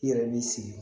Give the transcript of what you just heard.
I yɛrɛ b'i sigi